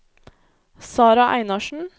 Sarah Einarsen